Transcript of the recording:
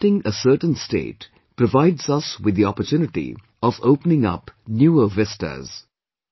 Accepting a certain state provides us with the opportunity of opening up newer vistas